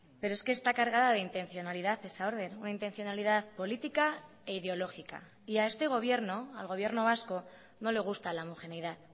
pero es que está cargada de intencionalidad esa orden una intencionalidad política e ideológica y a este gobierno al gobierno vasco no le gusta la homogeneidad